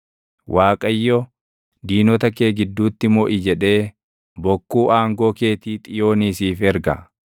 Waaqayyo, “Diinota kee gidduutti moʼi” jedhee bokkuu aangoo keetii Xiyoonii siif erga.